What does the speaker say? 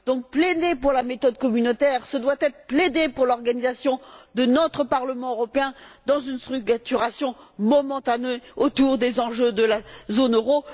Donc, plaider pour la méthode communautaire, ce doit être plaider pour l'organisation de notre Parlement européen dans une structuration momentanée autour des enjeux de la zone euro.